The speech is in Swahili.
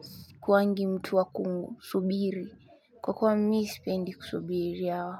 skuwangi mtu wa kusubiri kwa kweli mimi sipendi kusubiria.